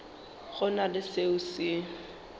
go na le selo se